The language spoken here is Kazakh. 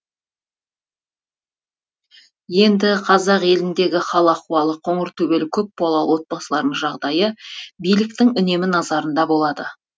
енді қазақ еліндегі қал ахуалы қоңыртөбел көп балалы отбасылардың жағдайы биліктің үнемі назарында болады